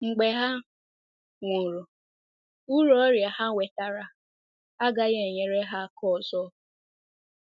Mgbe ha nwụrụ, uru ọrịa ha nwetara agaghị enyere ha aka ọzọ.